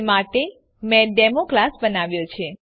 તે માટે મેં ડેમો ક્લાસ બનાવ્યો છે